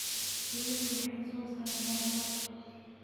Shinidu waxay soo saarta malab.